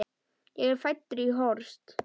Ég er fæddur í Horst.